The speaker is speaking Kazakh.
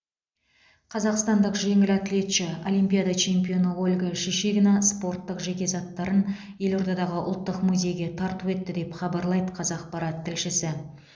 қазақстандық жеңіл атлетші олимпиада чемпионы ольга шишигина спорттық жеке заттарын елордадағы ұлттық музейге тарту етті деп хабарлайды қазақпарат тілшісі